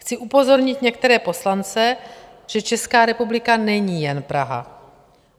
Chci upozornit některé poslance, že Česká republika není jen Praha.